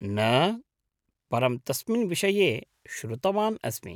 न, परं तस्मिन् विषये श्रुतवान् अस्मि।